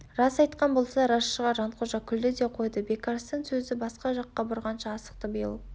рас айтқан болса рас шығар жанқожа күлді де қойды бекарыстан сөзді басқа жақка бұрғанша асықты биыл